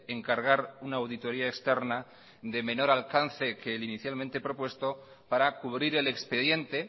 encargar una auditoría externa de menor alcance que el inicialmente propuesto para cubrir el expediente